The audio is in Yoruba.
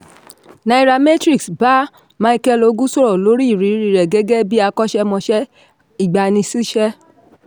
nairametrics ba micheal ogu sọ̀rọ̀ lori iriri rẹ̀ gẹ́gẹ́ bí akọ́ṣẹ́mọsẹ́ ìgbaniṣíṣẹ́.